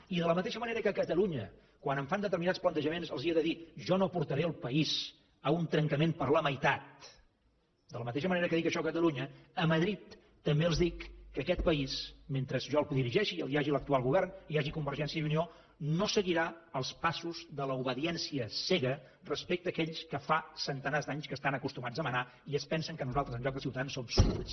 i de la mateixa manera que a catalunya quan em fan determinats plantejaments els he de dir jo no portaré el país a un trencament per la meitat de la mateixa manera que dic això a catalunya a madrid també els dic que aquest país mentre jo el dirigeixi hi hagi l’actual govern i hi hagi convergència i unió no seguirà els passos de l’obediència cega respecte a aquells que fa centenars d’anys que estan acostumats a manar i que es pensen que nosaltres en lloc de ciutadans som súbdits